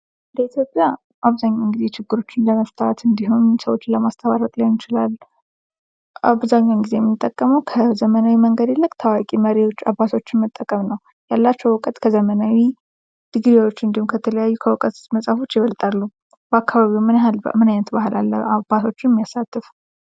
በኢትዮጵያ አብዛኛውን ጊዜ ችግሮችን ለመፍታት እንድሁም ሰዎችን ለማስታረቅ ሊሆን ይችላል የምንጠቀመው ከዘመናዊ መንገድ ይልቅ ታዋቂ መሪዎች አባቶችን መጠቀም ነው። ያላቸው እውቀት ከዘመናዊ ድግሪዎች እንድሁም ከተለያዩ ከእውቀት መጽሐፎች ይበልጣሉ። በአካባቢዎ ምን አይነት ባህል አለ አባቶችን የሚያሳትፍ ?